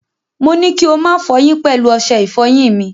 Mo ní kí ó má fọyín pẹ̀lú ọṣẹ ìfọyín mi.